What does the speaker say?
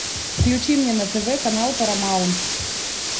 включи мне на тв канал парамаунт